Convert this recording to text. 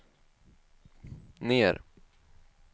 ner